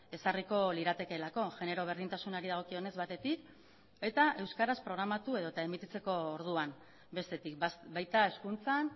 ezarriko liratekeelako genero berdintasunari dagokionez batetik eta euskaraz programatu edota emititzeko orduan bestetik baita hezkuntzan